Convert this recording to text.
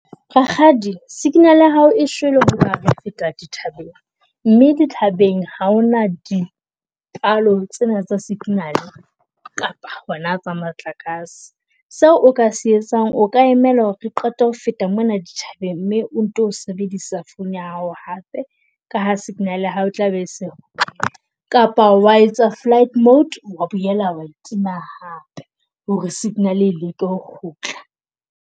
Rakgadi signal ya hao e shwele hoba re feta dithabeng mme dithabeng ha hona dipalo tsena tsa signal kapa hona tsa motlakase. Seo o ka se etsang o ka emela hore re qete ho feta mona dithabeng mme o nto sebedisa phone ya hao hape ka ha signal ya hao tla be eseo. Kapa wa etsa flight mode wa boela wa e tima hape hore signal e leke ho kgutla.